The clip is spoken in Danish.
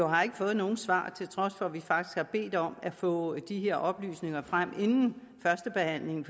har ikke fået nogen svar til trods for at vi faktisk har bedt om at få de her oplysninger frem inden førstebehandlingen